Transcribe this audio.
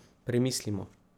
Premislimo.